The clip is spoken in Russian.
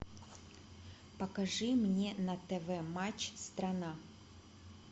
покажи мне на тв матч страна